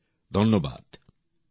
অনেক অনেক ধন্যবাদ